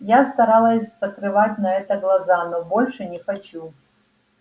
я старалась закрывать на это глаза но больше не хочу